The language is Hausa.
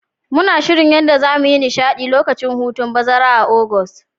Muna shirin yadda zamu yi nishadi lokacin hutun bazara a'Augusta.